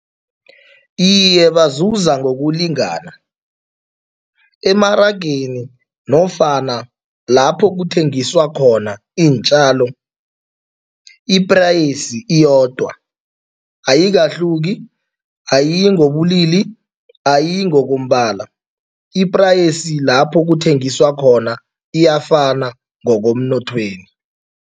Iye, bazuza ngokulingana. Emarageni nofana lapho kuthengiswa khona iintjalo, i-price iyodwa, ayikahluki, ayiyi ngobulili, ayiyi ngokombala. I-price lapho kuthengiswa khona iyafana ngokomnothweni.